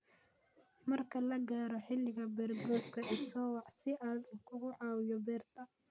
Marka la gaaro xilliga beergooyska, i soo wac si aan kugu caawiyo beerta